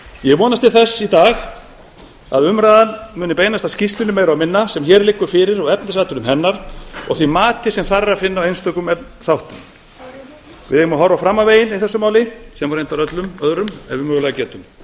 ég vonast til þess í dag að umræðan muni meira og minna beinast að skýrslunni sem hér liggur fyrir og efnisatriðum hennar og því mati sem þar er að finna á einstökum þáttum við eigum að horfa fram á veginn í þessu máli sem og reyndar öllum öðrum ef við mögulega getum